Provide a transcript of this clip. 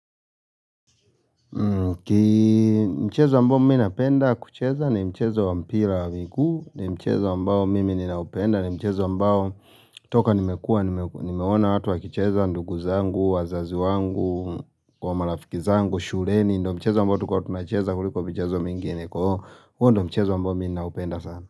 Mchezo ambao mimi ninapenda kucheza ni mchezo wa mpira wa miguu ni mchezo ambao mimi ninaupenda ni mchezo ambao toka nimekua, nimeona watu wakicheza ndugu zangu, wazazi wangu Kwa marafiki zangu, shuleni ndo mchezo ambao tulikua tunacheza kuliko michezo mingine huo ndo mchezo ambao mimi naupenda sana.